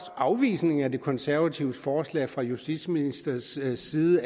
at afvisningen af de konservatives forslag fra justitsministerens side